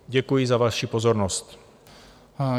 Děkuji za vaši pozornost.